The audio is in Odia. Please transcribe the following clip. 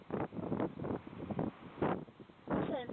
ହଁ sir